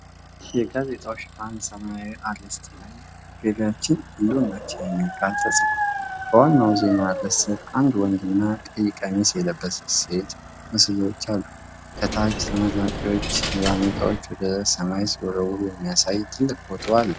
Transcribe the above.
የጋዜጣው ሽፋን ሰማያዊ አርዕስት ላይ "ገቢያችን ህልውናችን" የሚል ቃል ተጽፏል። በዋናው ዜና ርዕስ ስር አንድ ወንድና ቀይ ቀሚስ የለበሰች ሴት ምስሎች አሉ። ከታች፣ ተመራቂዎች ባርኔጣዎቻቸውን ወደ ሰማይ ሲወረውሩ የሚያሳይ ትልቅ ፎቶ አለ።